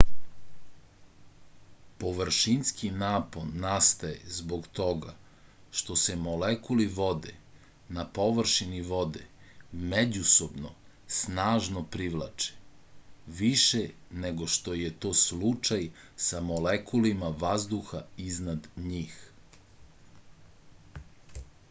površinski napon nastaje zbog toga što se molekuli vode na površini vode međusobno snažno privlače više nego što je to slučaj sa molekulima vazduha iznad njih